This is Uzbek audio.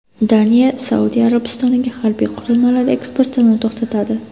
Daniya Saudiya Arabistoniga harbiy qurilmalar eksportini to‘xtatadi.